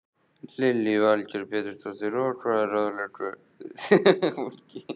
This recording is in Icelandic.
Lillý Valgerður Pétursdóttir: Og hvað ráðleggið þið fólki?